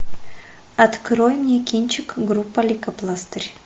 открой мне кинчик группа лейкопластырь